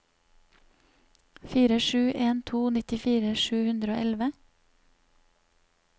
fire sju en to nittifire sju hundre og elleve